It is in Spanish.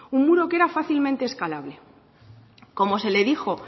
un muro que era fácilmente escalable como se le dijo